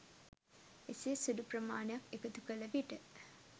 එසේ සුළු ප්‍රමාණයක් එකතුකල විට